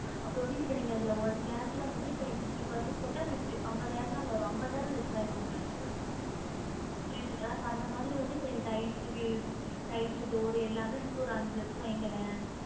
அப்ரோ வந்து இப்ப நீங்க அதுல one lakh ல வந்து இப்ப நீங்க fifty percent போட்டா fifty அம்பதாயிரம் தான் வரும் அம்பதாயிரம் less ஆயிரும் உங்களுக்கு புரியுதுங்களா அந்த மாதிரி வந்து இப்ப நீங்க tiles tiles door எல்லாமே சேர்த்து ஒரு அஞ்சுலட்சம் வைங்களேன்